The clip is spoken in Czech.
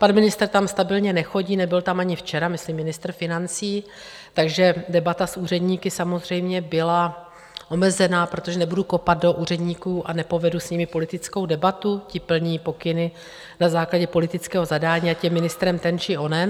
Pan ministr tam stabilně nechodí, nebyl tam ani včera, myslím ministr financí, takže debata s úředníky samozřejmě byla omezena, protože nebudu kopat do úředníků a nepovedu s nimi politickou debatu, ti plní pokyny na základě politického zadání, ať je ministrem ten či onen.